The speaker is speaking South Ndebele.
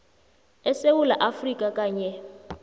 esewula afrika kanye